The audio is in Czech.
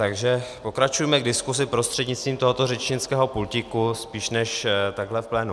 Takže pokračujme v diskuzi prostřednictvím tohoto řečnického pultíku spíš, než takhle v plénu.